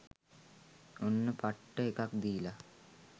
ඔන්න පට්ට එකක් දීලා .